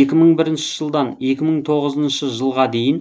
екі мың бірінші жылдан екі мың тоғызыншы жылға дейін